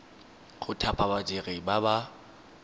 go thapa badiri ba ba